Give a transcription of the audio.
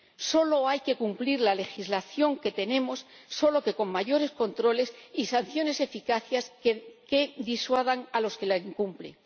Solo hay que cumplir la legislación que tenemos, solo que con mayores controles y sanciones eficaces que disuadan a los que la incumplen.